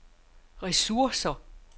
ressourcer